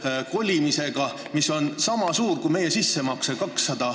Selleks kulub 200 miljonit, mis on sama suur summa kui meie sissemakse.